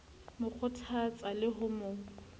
mo kgothatsang le ho mo